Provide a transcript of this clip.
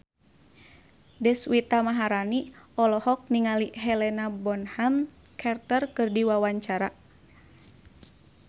Deswita Maharani olohok ningali Helena Bonham Carter keur diwawancara